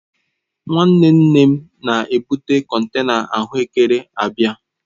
Nwanne Nne m na-ebụ kọntena ahụ ekere abịa.